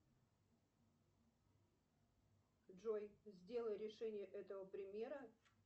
джой сделай решение этого примера